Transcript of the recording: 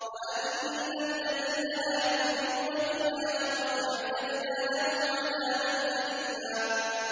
وَأَنَّ الَّذِينَ لَا يُؤْمِنُونَ بِالْآخِرَةِ أَعْتَدْنَا لَهُمْ عَذَابًا أَلِيمًا